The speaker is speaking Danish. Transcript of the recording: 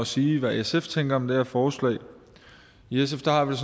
sige hvad sf tænker om det her forslag i sf har vi